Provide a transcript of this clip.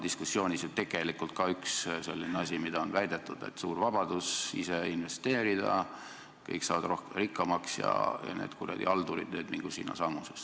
Diskussioonis on ju tegelikult väidetud, et olgu suur vabadus ise investeerida, kõik saavad rikkamaks ja need kuradi haldurid mingu sinnasamusesse.